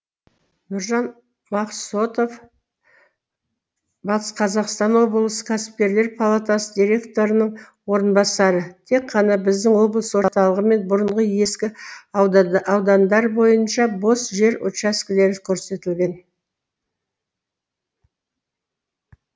нұржан мақсотов батыс қазақстан облысы кәсіпкерлер палатасы директорының орынбасары тек қана біздің облыс орталығы мен бұрынғы ескі аудандар бойынша бос жер учаскелері көрсетілген